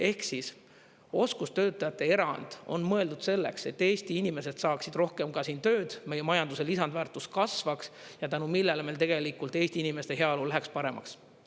Ehk siis, oskustöötajate erand on mõeldud selleks, et Eesti inimesed saaksid rohkem ka siin tööd, meie majanduse lisandväärtus kasvaks ja tänu millele meil tegelikult Eesti inimeste heaolu läheks paremaks.